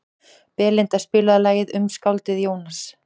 Belinda, spilaðu lagið „Um skáldið Jónas“.